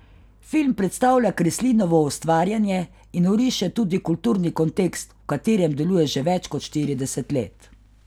Film predstavlja Kreslinovo ustvarjanje in oriše tudi kulturni kontekst, v katerem deluje že več kot štirideset let.